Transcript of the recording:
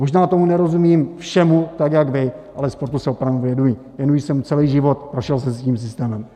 Možná tomu nerozumím všemu tak jak vy, ale sportu se opravdu věnuji, věnuji se mu celý život, prošel jsem si tím systémem.